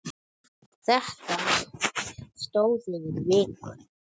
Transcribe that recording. Þetta stóð yfir í viku.